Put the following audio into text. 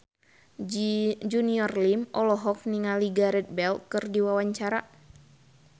Junior Liem olohok ningali Gareth Bale keur diwawancara